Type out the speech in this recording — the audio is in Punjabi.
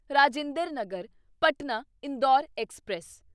ਰਾਜਿੰਦਰ ਨਗਰ ਪਟਨਾ ਇੰਦੌਰ ਐਕਸਪ੍ਰੈਸ